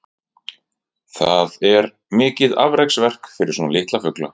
Það er mikið afreksverk fyrir svona litla fugla.